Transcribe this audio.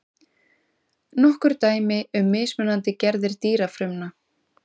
Nokkur dæmi um mismunandi gerðir dýrafrumna.